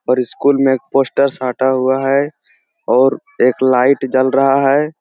और स्कूल में एक पोस्टर साटा हुआ है और एक लाइट जल रहा है।